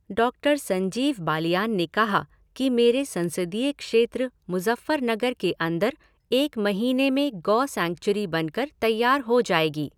डॉ संजीव बालियान ने कहा कि मेरे संसदीय क्षेत्र मुज़फ़्फ़रनगर के अंदर एक महीने में गौ सैंचुरी बनकर तैयार हो जायेगी।